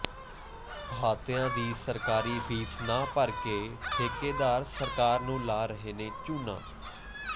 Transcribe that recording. ਅਹਾਤਿਆਂ ਦੀ ਸਰਕਾਰੀ ਫ਼ੀਸ ਨਾ ਭਰ ਕੇ ਠੇਕੇਦਾਰ ਸਰਕਾਰ ਨੂੰ ਲਾ ਰਹੇ ਨੇ ਚੂਨਾ